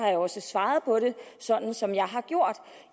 jeg også svaret på det sådan som jeg har gjort